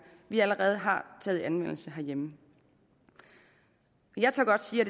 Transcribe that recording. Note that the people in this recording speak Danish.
vi allerede har taget i anvendelse herhjemme jeg tør godt sige at